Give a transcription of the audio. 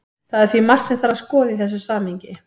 Það er því margt sem þarf að skoða í þessu samhengi.